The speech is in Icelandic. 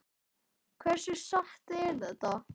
Hversu satt er það?